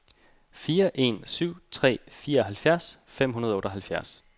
fire en syv tre fireoghalvfjerds fem hundrede og otteoghalvfjerds